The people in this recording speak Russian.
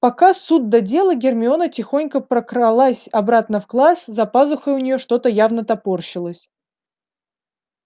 пока суд да дело гермиона тихонько прокралась обратно в класс за пазухой у неё что-то явно топорщилось